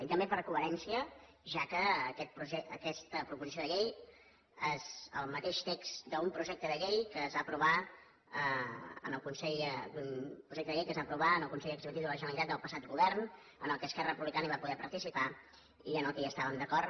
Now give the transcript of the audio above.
i també per coherència ja que aquesta proposició de llei és el mateix text d’un projecte de llei que es va aprovar en el consell executiu de la generalitat del passat govern en què esquerra republicana va poder participar i amb el qual estàvem d’acord